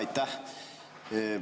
Aitäh!